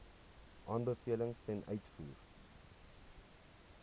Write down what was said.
aanbevelings ten uitvoer